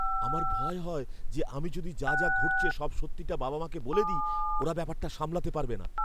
আমার ভয় হয় যে আমি যদি যা যা ঘটছে সব সত্যিটা বাবা মাকে বলে দিই, ওরা ব্যাপারটা সামলাতে পারবে না।